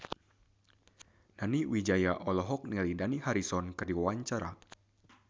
Nani Wijaya olohok ningali Dani Harrison keur diwawancara